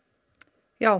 já